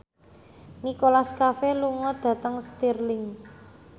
Nicholas Cafe lunga dhateng Stirling